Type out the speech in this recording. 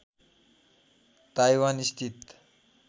Taiwan स्थित